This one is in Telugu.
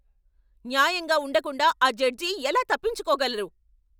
న్యాయంగా ఉండకుండా ఆ జడ్జి ఎలా తప్పించుకోగలరు?